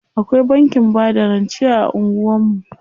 Akwai bankin bada rance a anguwan mu.